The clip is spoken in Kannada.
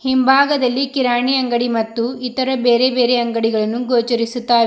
ಹಿಂಭಾಗದಲ್ಲಿ ಕಿರಾಣಿ ಅಂಗಡಿ ಮತ್ತು ಇತರ ಬೇರೆ ಬೇರೆ ಅಂಗಡಿಗಳನ್ನು ಗೋಚರಿಸುತ್ತಾವೆ.